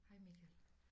Hej Michael